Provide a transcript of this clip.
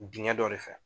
Dingɛ dɔ de fɛ